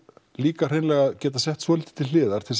líka hreinlega að geta lagt svolítið til hliðar til